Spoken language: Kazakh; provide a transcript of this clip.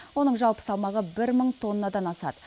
оның жалпы салмағы бір мың тоннадан асады